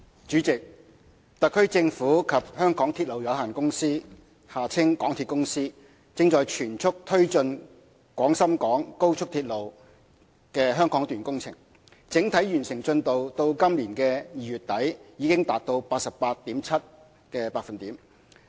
主席，特區政府及香港鐵路有限公司正全速推進廣深港高速鐵路香港段工程，整體完成進度至今年2月底已達 88.7%。